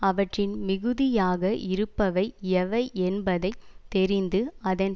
அவற்றில் மிகுதியாக இருப்பவை எவை என்பதை தெரிந்து அதன்